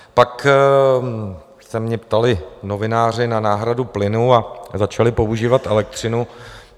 Pak se mě ptali novináři na náhradu plynu a začali používat elektřinu.